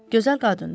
Gözəl qadındı.